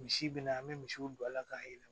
Misi bɛna an bɛ misiw don a la k'a yira